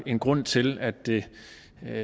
en grund til at det